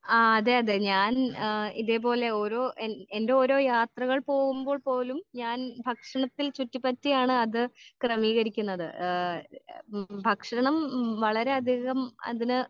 ആ അതെ അതെ ഞാൻ ആ ഇതേപോലെ ഓരോ എൻ എൻ്റെ ഓരോ യാത്രകൾ പോവുമ്പോൾ പോലും ഞാൻ ഭക്ഷണത്തിൽ ചുറ്റി പറ്റിയാണ് അത് ക്രെമീകരിക്ക്ണത് ഏഹ് ഭക്ഷണം വളരെ അധികം അതിന്